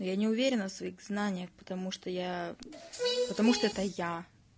я не уверена в своих знаниях потому что я потому что это я